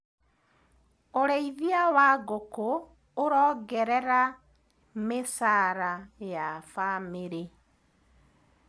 ũrĩithia wa ngũkũ ũrongererera mĩcara ya famĩrĩ.